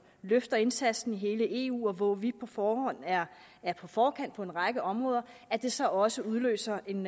løfter indsatsen i hele eu hvor vi på forhånd er er på forkant på en række områder at det så også udløser en